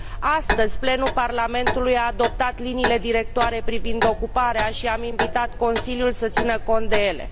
Astăzi, plenul Parlamentului a adoptat liniile directoare privind ocuparea și am invitat Consiliul să țină cont de ele.